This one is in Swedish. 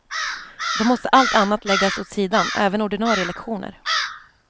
Då måste allt annat läggas åt sidan, även ordinarie lektioner.